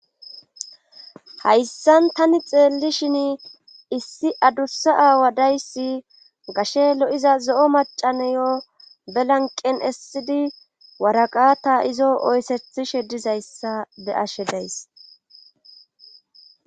hayssan tani xeellishin issi adussa aawa dayssi gashe lo7l'iza zo'o macaneyo belanqen essidi waraqata izo oysethishe dizayssa be'ashe days